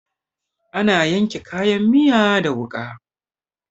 Ana yanka kayan miya da wuƙa.